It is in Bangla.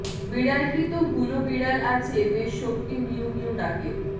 বিড়ালটি তো হুলো বিড়াল আছে বেশ শক্তি মিউঁ মিউঁ ডাকের